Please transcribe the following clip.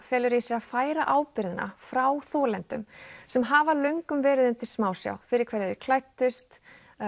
felur í sér að færa ábyrgðina frá þolendum sem hafa löngum verið undir smásjá fyrir hverju þeir klæddust